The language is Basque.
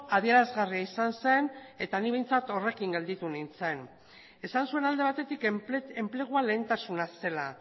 adierazgarria izan zen eta ni behintzat horrekin gelditu nintzen esan zuen alde batetik enplegua lehentasuna zela